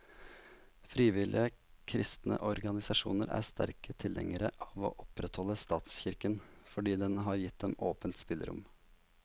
Frivillige kristne organisasjoner er sterke tilhengere av å opprettholde statskirken, fordi den har gitt dem åpent spillerom.